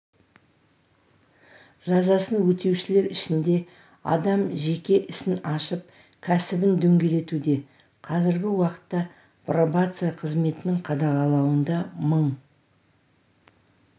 жазасын өтеушілер ішінде адам жеке ісін ашып кәсібін дөңгелетуде қазіргі уақытта пробация қызметінің қадағалауында мың